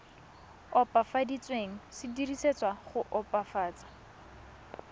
opafaditsweng se dirisetswa go opafatsa